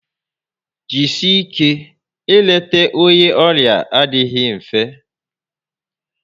Jisie ike, ị leta onye ọrịa adịghị mfe